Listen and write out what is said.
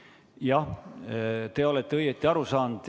Jah, te olete õigesti aru saanud.